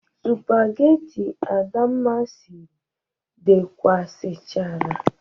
Supageti Adamma siri dekasichara.